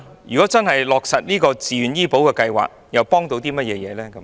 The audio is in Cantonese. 如果真的落實自願醫保計劃，可以幫助甚麼？